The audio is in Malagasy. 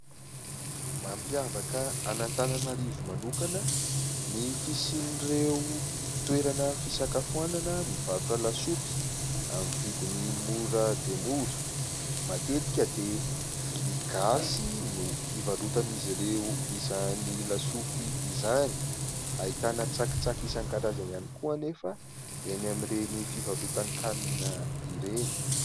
Mampiavaka an' Antananarivo manokana, ny fisin'ireo toerana fisakafoana, mivarotra lasopy amin'ny vidiny mora dia mora, matetika dia vilia gasy no hivarotan'izy ireo izany lasopy izany ; ahitana tsakitsaky isan-karazany ihany koa anefa eny amin'ireny fivarotan-kanina ireny.